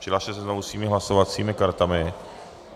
Přihlaste se znovu svými hlasovacími kartami.